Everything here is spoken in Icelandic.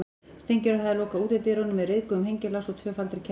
Steingerður hafði lokað útidyrunum með ryðguðum hengilás og tvöfaldri keðju.